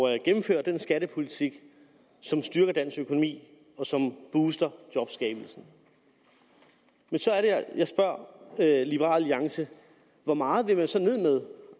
at gennemføre den skattepolitik som styrker dansk økonomi og som booster jobskabelsen men så er det jeg spørger liberal alliance hvor meget vil man så